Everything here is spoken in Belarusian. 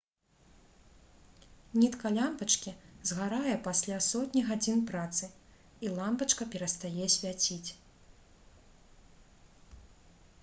нітка лямпачкі згарае пасля сотні гадзін працы і лямпачка перастае свяціць